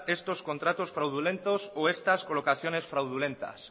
estos contratos fraudulentos o estas colocaciones fraudulentas